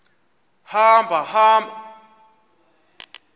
hamba hamba mkhozi